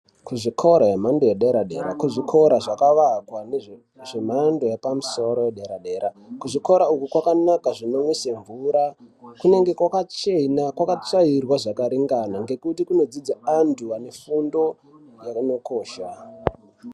Kuzvikora zvenhando yederadera dera kuzvikora zvakawakwa zvemhando yepamusoro yedera dera kuzvikora uku kwanakanaka zvinomwise mvura kunenge kwakachena kwakatsvairwa zvakaringana ngekuti kunodzidze antu vanefundo yakanokosha.